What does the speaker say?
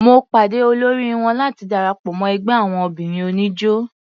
Mo pàde olóri wọn láti darapọ̀ mọ́ ẹgbẹ́ àwon obìnrin oníjó.